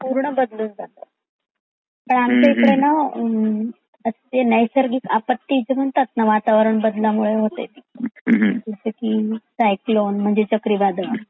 पूर्ण बदलून जात. ते आमचा कडे ना आ ते नायसर्गिक आप्पती म्हणतात ना वातावरण बदला मुळे होते ती जसा कि क्यक्लॉन म्हणजे चाकरी वादळ.